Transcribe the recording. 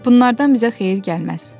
Bunlardan bizə xeyir gəlməz.